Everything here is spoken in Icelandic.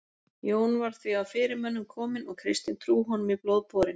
Jón var því af fyrirmönnum kominn og kristin trú honum í blóð borin.